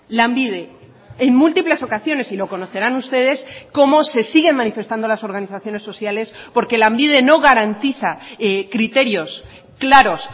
lanbide en múltiples ocasiones y lo conocerán ustedes cómo se siguen manifestando las organizaciones sociales porque lanbide no garantiza criterios claros